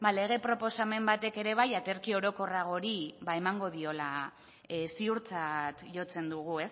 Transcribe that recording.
lege proposamen batek ere bai aterki orokorrago hori ba emango diola ziurtzat jotzen dugu